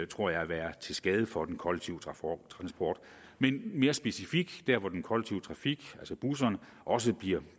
tror jeg vil være til skade for den kollektive transport men mere specifikt der hvor den kollektive trafik altså busserne også bliver